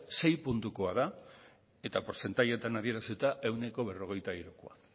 sei puntukoa da eta portzentajeetan adierazita ehuneko berrogeita hirukoa